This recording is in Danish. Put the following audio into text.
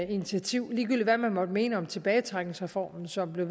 initiativ ligegyldigt hvad man måtte mene om tilbagetrækningsreformen som blev